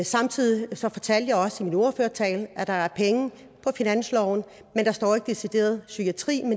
samtidig sagde jeg også i min ordførertale at der er penge på finansloven men der står ikke decideret psykiatri